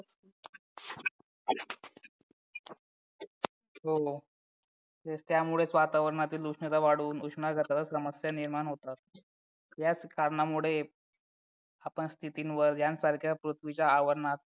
हो तेच त्यामुळेच वातावरणातील उष्णता वाढवून समस्या निर्माण होतात याच कारणामुळे आपण स्थितीवर यासारख्या पृथ्वीच्या आवरणात